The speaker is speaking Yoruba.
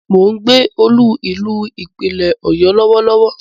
Mo ń gbé olú-ìlú Ìpínlẹ̀ Ọ̀yọ́ Lọ́wọ́lọ́wọ́